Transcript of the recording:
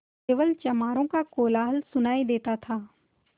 केवल चमारों का कोलाहल सुनायी देता था